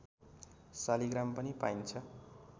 शालिग्राम पनि पाइन्छ